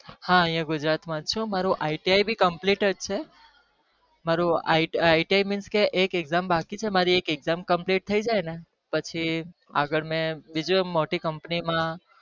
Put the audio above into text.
હા અહિયાં ગુજરાત માં છુ મારું iti ભી complete જ છે મારું it iti mean કે એક exam બાકી છે મારી એક exam compleat થય જાય ને પછી આગળ મેં બીજું એક મોટી company માં